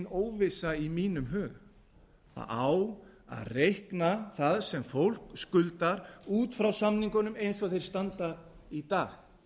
óvissa í mínum huga það á að reikna það sem fólk skuldar út frá samningunum eins og þeir standa í dag